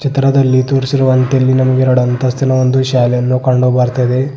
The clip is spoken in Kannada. ತ್ರದಲ್ಲಿ ತೋರಿಸಿರುವಂತೆ ಇಲ್ಲಿ ನಮ್ಗೆರಡ್ ಅಂತಸ್ತಿನ ಒಂದು ಶಾಲೆಯನ್ನು ಕಂಡು ಬರ್ತಿದೆ.